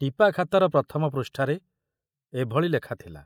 ଟିପାଖାତାର ପ୍ରଥମ ପୃଷ୍ଠାରେ ଏଭଳି ଲେଖା ଥିଲା